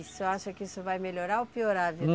O senhor acha que isso vai melhorar ou piorar?